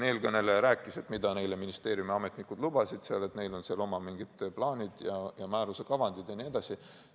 Eelkõneleja rääkis, mida ministeeriumi ametnikud neile lubasid, et neil on seal mingisugused oma plaanid ja määruse kavandid jne.